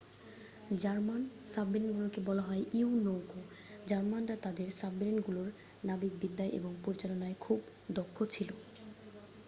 German সাবমেরিনগুলোকে বলা হত ইউ-নৌকো জার্মানরা তাদের সাবমেরিনগুলোর নাবিকবিদ্যা এবং পরিচালনায় খুব দক্ষ ছিল